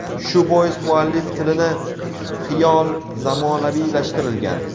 Shu bois muallif tilini xiyol zamonaviylashtirilgan.